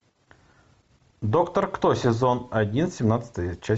доктор кто сезон один семнадцатая часть